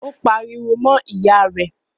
Ó pariwo mọ́ ìyá rẹ̀?